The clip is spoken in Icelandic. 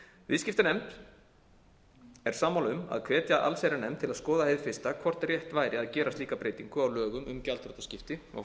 viðskiptanefnd er sammála um að hvetja allsherjarnefnd til að skoða hið fyrsta hvort rétt væri að gera slíka breytingu á lögum um gjaldþrotaskipti og